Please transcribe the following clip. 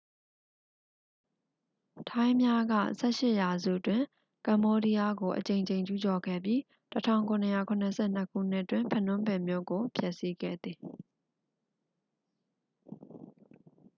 ထိုင်းများက 18 ရာစုတွင် ကမ္ဘောဒီးယားကို အကြိမ်ကြိမ် ကျူးကျော်ခဲ့ပြီး 1772 ခုနှစ်တွင် ဖနွန်ပင်မြို့ကို ဖျက်ဆီးခဲ့သည်